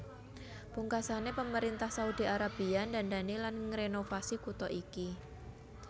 Pungkasané pemerintah Saudi Arabia ndandani lan ngrenovasi kutha iki